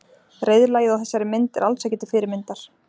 Reiðlagið á þessari mynd er alls ekki til fyrirmyndar.